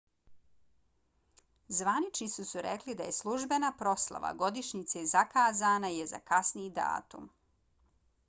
zvaničnici su rekli da je službena proslava godišnjice zakazana je za kasniji datum